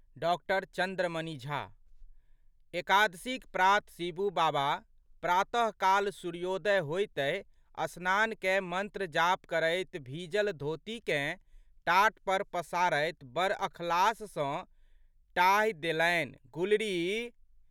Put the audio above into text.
डॉ.चन्द्रमणि झा. एकादशीक प्रात शिबू बाबा प्रातःकाल सूर्योदय होइतहि स्नान कय मंत्र जाप करैत भीजल धोतीकेँ टाट पर पसारैत बड़ अखलास सँ टाहि देलनिगुलरी!